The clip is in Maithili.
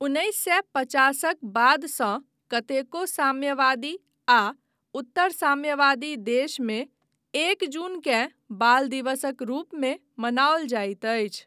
उन्नैस सए पचासक बादसँ कतेको साम्यवादी आ उत्तर साम्यवादी देशमे एक जूनकेँ बाल दिवसक रूपमे मनाओल जाइत अछि।